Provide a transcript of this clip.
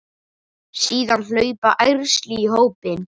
Síðan hlaupa ærsli í hópinn.